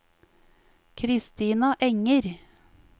Kristina Enger